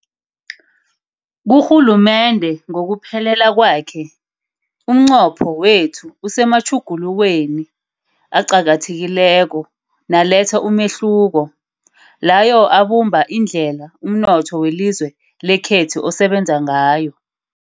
Kurhulumende ngokuphelela kwakhe, umnqopho wethu usematjhugulukweni aqakathekileko naletha umehluko, layo abumba indlela umnotho welizwe lekhethu osebenza ngayo.